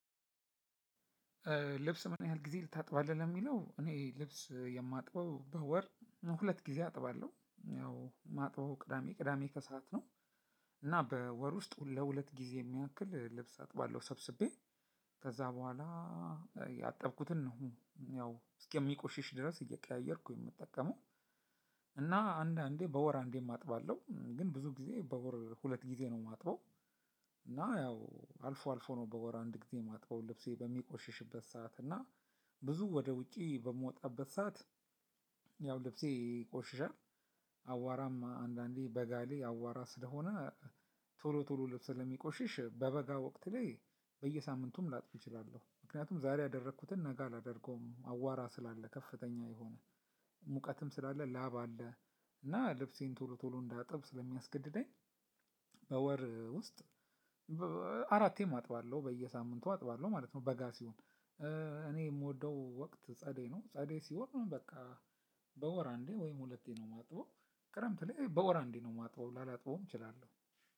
ልብስ ምን ያህል ጊዜ ታጥባለህ ለሚለው እኔ ልብስ የማጥበው በወር ሁለት ጊዜ አጥባለሁ ያው ማጥበው ቅዳሜ ቅዳሜ ከሰአት ነው። እና በወር ውስጥ ለሁለት ጊዜ የሚያክል ልብስ አጥባለሁ ሰብስቤ ከዛ በኋላ ያጠብኩትን ነው ያው እስከ ሚቆሽሽ ድረስ እየቀያየርኩ የምጠቀመው። እና አንዳንዴ በወር አንዴም አጥባለሁ ግን ብዙ ጊዜ በወር ሁለት ጊዜ ነው የማጥበው። እና ያው አልፎ አልፎ ነው በወር አንድ ጊዜ የማጥበው ልብሴ በሚቆሽሽበት ሰዓት እና ብዙ ወደ ውጪ በምወጣበት ሰዓት። ያው ልብሴ ይቆሽሻል አቧራም አንዳንዴ በጋ ላይ አቧራ ስለሆነ ቶሎ ቶሎ ልብስ ስለሚቆሽሽ በበጋ ወቅት ላይ በየሳምንቱም ላጥብ እችላለሁ። ምክንያቱም ዛሬ ያደረኩትን ነጋ አላደርገውም አቧራ ስላለ ከፍተኛ የሆነ ሙቀትም ስላለ ላብ አለ እና ልብሴን ቶሎ ቶሎ እንዳጥብ ስለሚያስገድደኝ። በወር ውስጥ አራቴም አጥባለሁ በየሳምንቱ አጥባለሁ ማለት ነው። በጋ ሲሆን እኔ የምወደው ወቅት ጸደይ ነው። ጸደይ ሲሆን በቃ በወር አንዴ ወይም ሁለቴ ነው የማጥበው። ክረምት ላይ በወር አንዴ ነው የማጥበው ላላጥበውም እችላለሁ።